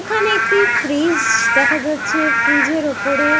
এখানে একটি ফ্রিজ-জ দেখা যাচ্ছে ফ্রিজের ওপরে --